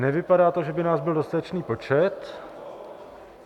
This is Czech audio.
Nevypadá to, že by nás byl dostatečný počet.